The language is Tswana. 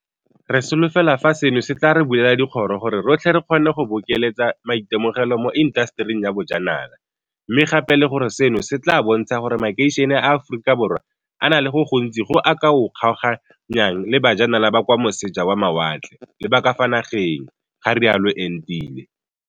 Re solofela fa seno se tla re bulela dikgoro gore rotlhe re kgone go bokeletsa maitemogelo mo intasetering ya bojanala, mme gape le gore seno se tla bontsha gore makeišene a Aforika Borwa a na le go le gontsi go a ka o kgaoganyang le ba janala ba kwa moseja wa mawatle le ba ka fa nageng, ga rialo Entile.